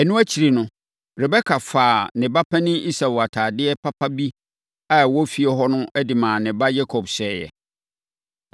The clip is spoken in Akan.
Ɛno akyiri no, Rebeka faa ne ba panin Esau atadeɛ papa bi a ɛwɔ fie hɔ de maa ne ba Yakob hyɛeɛ.